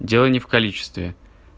дело не в количестве